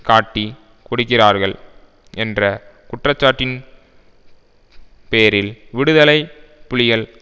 காட்டிக் கொடுக்கிறார்கள் என்ற குற்றச்சாட்டின் பேரில் விடுதலை புலிகள்